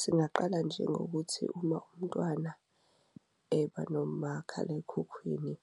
Singaqala njengokuthi uma umntwana eba nomakhalekhukhwini